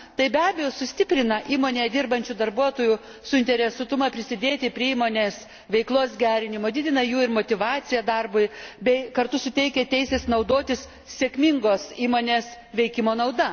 Tai, be abejo, sustiprina įmonėje dirbančių darbuotojų suinteresuotumą prisidėti prie įmonės veiklos gerinimo, didina jų motyvaciją darbui ir kartu suteikia teises naudotis sėkmingos įmonės veikimo nauda.